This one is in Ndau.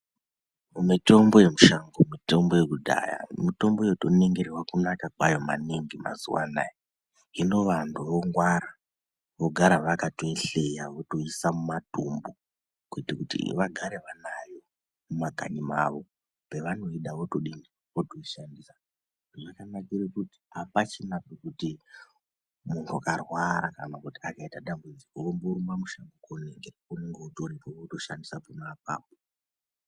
Mitombo yemushango mitombo yekudhaya mitombo yotoningirwa kunaka kwayo maningi mazuwaanaa hino vantu vongwara vogara vakatoihleya votoisa mumatumbu kuita kuti vagare vanayo mumakanyi mwawo pevanoida votodini votoishandisa zvakanakira kuti apachina pekuti muntu akarwara kana kuti akaite dambudziko omborumbe mushango inonga utoripo wotoshandisa pona apapo.